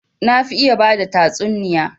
Na fi iya bada tatsuniya